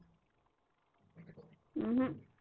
अं अह